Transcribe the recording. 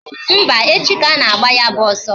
Mba, echi ka ana-agba ya bụ ọsọ